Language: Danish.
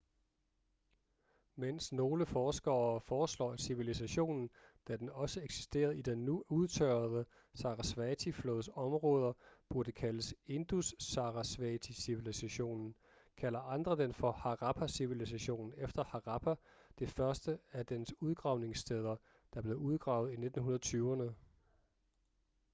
mens nogle forskere foreslår at civilisationen da den også eksisterede i den nu udtørrede sarasvati-flods områder burde kaldes indus-sarasvati-civilisationen kalder andre den for harappa-civilisationen efter harappa det første af dens udgravningssteder der blev udgravet i 1920'erne